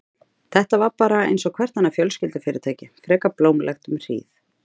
Þetta var bara einsog hvert annað fjölskyldufyrirtæki, frekar blómlegt um hríð.